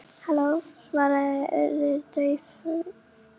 Halló- svaraði Urður dauflega í símann.